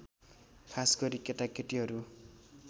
खासगरी केटाकेटीहरू